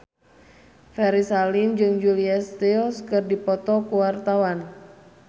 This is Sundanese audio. Ferry Salim jeung Julia Stiles keur dipoto ku wartawan